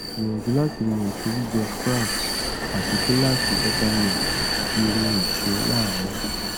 gbìyànjú láti mú èso gbígbẹ sprouts àti gíláàsì buttermilk tàbí omi èso láàárín